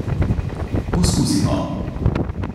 Poskusimo!